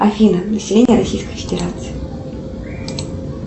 афина население российской федерации